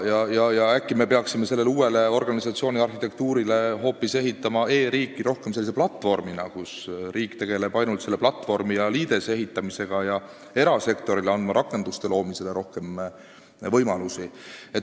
Äkki me peaksime sellele uuele organisatsiooniarhitektuurile ehitama e-riiki rohkem hoopis sellise platvormina, kus riik tegeleb ainult selle platvormi ja liidese ehitamisega ning erasektorile antakse rakenduste loomisel rohkem võimalusi.